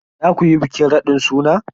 Za ku yi bikin raɗin suna?